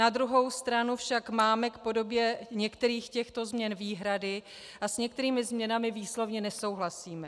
Na druhou stranu však máme k podobě některých těchto změn výhrady a s některými změnami výslovně nesouhlasíme.